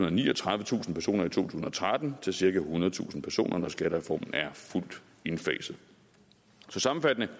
og niogtredivetusind personer i to tusind og tretten til cirka ethundredetusind personer når skattereformen er fuldt indfaset så sammenfattende